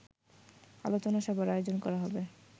আলোচনা সভার আয়োজন করা হবে